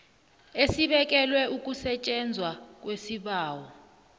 esibekelwe ukusetjenzwa kwesibawo